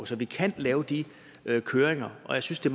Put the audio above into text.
så vi kan lave de kørsler og jeg synes det